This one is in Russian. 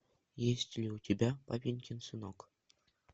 есть ли у тебя папенькин сынок